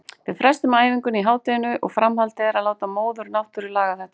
Við frestuðum æfingunni í hádeginu og framhaldið er að láta móður náttúru laga þetta.